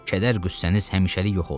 Kədər-qüssəniz həmişəlik yox olsun.